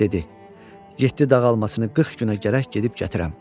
Dedi: "Yeddi dağ almasını 40 günə gərək gedib gətirəm."